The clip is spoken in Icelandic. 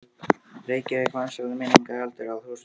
Reykjavík vansællar minningar, heldur þúsund ára virki.